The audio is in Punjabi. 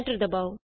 ਐਂਟਰ ਦਬਾਉ